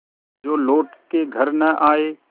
जो लौट के घर न आये